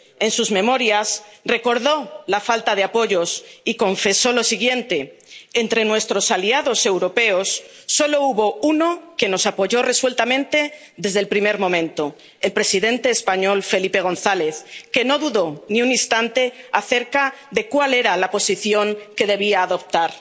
En sus memorias, recordó la falta de apoyos y confesó lo siguiente Entre nuestros aliados europeos, solo hubo uno que nos apoyó resueltamente desde el primer momento el presidente español, Felipe González, que no dudó ni un instante acerca de cuál era la posición que debía adoptar.